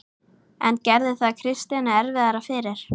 En gerði það Kristjáni erfiðara fyrir?